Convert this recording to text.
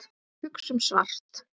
Hugsum svart.